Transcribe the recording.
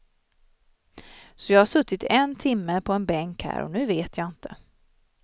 Så jag har suttit en timme på en bänk här, och nu vet jag inte.